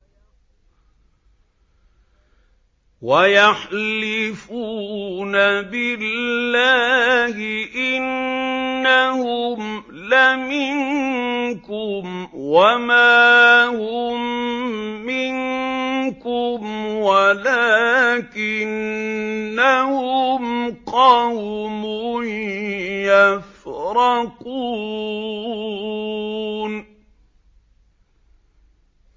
وَيَحْلِفُونَ بِاللَّهِ إِنَّهُمْ لَمِنكُمْ وَمَا هُم مِّنكُمْ وَلَٰكِنَّهُمْ قَوْمٌ يَفْرَقُونَ